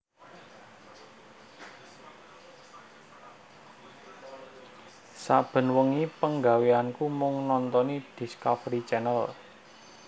Saben wengi penggaweanku mung nontoni Discovery Channel